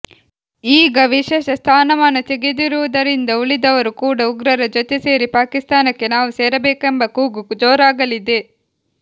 ಈಗ ವಿಶೇಷ ಸ್ಥಾನಮಾನ ತೆಗೆದಿರುವುದರಿಂದ ಉಳಿದವರು ಕೂಡ ಉಗ್ರರ ಜೊತೆ ಸೇರಿ ಪಾಕಿಸ್ತಾನಕ್ಕೆ ನಾವು ಸೇರಬೇಕೆಂಬ ಕೂಗು ಜೋರಾಗಲಿದೆ